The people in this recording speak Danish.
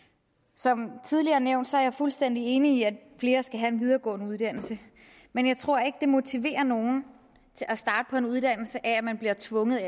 som tidligere nævnt er jeg fuldstændig enig i at flere skal have en videregående uddannelse men jeg tror ikke det motiverer nogen til at starte på en uddannelse at man bliver tvunget